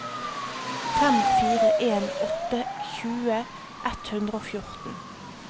fem fire en åtte tjue ett hundre og fjorten